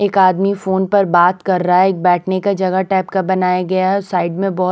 एक आदमी फोन पर बात कर रहा है एक बैठने का जगह टाइप का बनाया गया है साइड में बहुत--